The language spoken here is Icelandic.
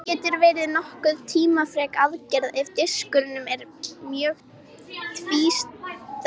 Þetta getur verið nokkuð tímafrek aðgerð ef diskurinn er mjög tvístraður.